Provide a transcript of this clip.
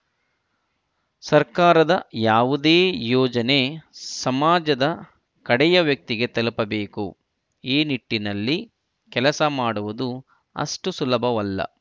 ಸರ್ಕಾರದ ಯಾವುದೇ ಯೋಜನೆ ಸಮಾಜದ ಕಡೆಯ ವ್ಯಕ್ತಿಗೆ ತಲುಪಬೇಕು ಈ ನಿಟ್ಟಿನಲ್ಲಿ ಕೆಲಸ ಮಾಡುವುದು ಅಷ್ಟುಸುಲಭವಲ್ಲ